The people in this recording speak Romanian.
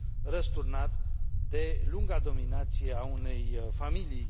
răsturnat de lunga dominație a unei familii.